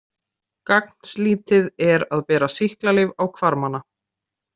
Gagnslítið er að bera sýklalyf á hvarmana.